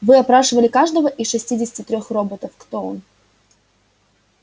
вы опрашивали каждого из шестидесяти трёх роботов кто он